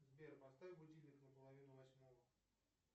сбер поставь будильник на половину восьмого